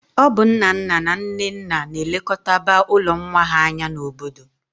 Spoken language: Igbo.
Ọ bụ nnanna na nnenna na-elekọtaba ụlọ nwa ha anya n'obodo